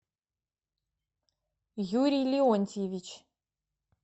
юрий леонтьевич